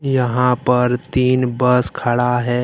यहां पर तीन बस खड़ा है।